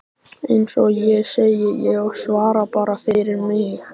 Eins og ég segi: Ég svara bara fyrir mig.